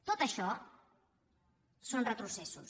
tot això són retrocessos